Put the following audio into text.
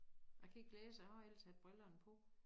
Jeg kan ikke læse jeg har ellers haft brillerne på